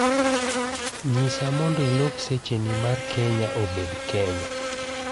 nyisa mondo ilok secheni mar Kenya obed mar Kenya